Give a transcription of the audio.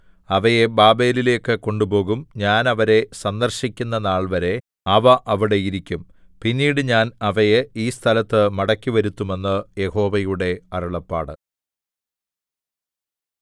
അവയെ ബാബേലിലേക്കു കൊണ്ടുപോകും ഞാൻ അവരെ സന്ദർശിക്കുന്ന നാൾവരെ അവ അവിടെ ഇരിക്കും പിന്നീട് ഞാൻ അവയെ ഈ സ്ഥലത്ത് മടക്കിവരുത്തും എന്ന് യഹോവയുടെ അരുളപ്പാട്